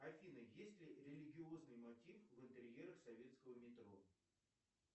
афина есть ли религиозный мотив в интерьерах советского метро